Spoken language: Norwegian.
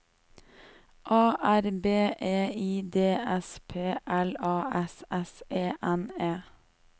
A R B E I D S P L A S S E N E